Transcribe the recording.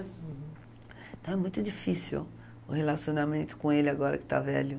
Uhum. Então é muito difícil o relacionamento com ele agora que está velho.